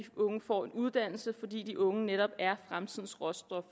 unge får en uddannelse fordi de unge netop er fremtidens råstof